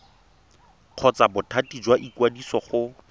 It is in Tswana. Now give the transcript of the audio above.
kgotsa bothati jwa ikwadiso go